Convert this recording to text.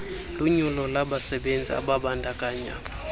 lunyulo labasebenzi ababandakanya